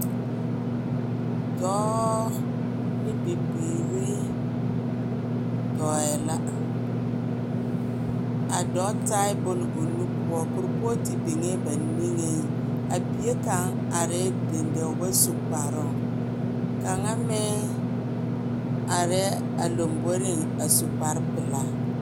Dɔɔ ne bibiiri dɔɛ la. A dɔɔ taɛ bone o nu poɔ, kuripɔɔte biŋee ba niŋeŋ. A bie kaŋ arɛɛ dendeu, o ba su kparoŋ. Kaŋa meŋ arɛɛ a lomboriŋ a su kpare pelaa.